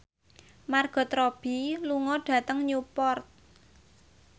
Margot Robbie lunga dhateng Newport